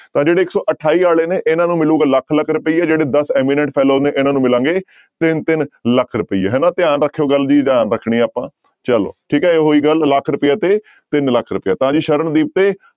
ਤਾਂ ਜਿਹੜੇ ਇੱਕ ਅਠਾਈ ਵਾਲੇ ਨੇ ਇਹਨਾਂ ਨੂੰ ਮਿਲੇਗਾ ਲੱਖ ਲੱਖ ਰੁਪਏ ਜਿਹੜੇ ਦਸ imminent fellow ਨੇ ਇਹਨਾਂ ਨੂੰ ਮਿਲਣਗੇ ਤਿੰਨ ਤਿੰਨ ਲੱਖ ਰੁਪਈਏ ਹਨਾ, ਧਿਆਨ ਰੱਖਿਓ ਗੱਲ ਵੀ ਧਿਆਨ ਰੱਖਣੀ ਹੈ ਆਪਾਂ ਚਲੋ ਠੀਕ ਹੈ ਇਹ ਹੋਈ ਗੱਲ ਲੱਖ ਰੁਪਏ ਤੇ ਤਿੰਨ ਲੱਖ ਰੁਪਈਆ ਤਾਂ ਜੀ ਸਰਨਦੀਪ ਤੇ